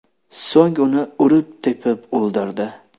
So‘ng uni urib-tepib o‘ldirdi.